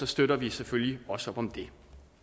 støtter vi selvfølgelig også op om det